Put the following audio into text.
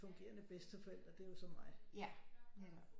Fungerende bedsteforælder det er jo så mig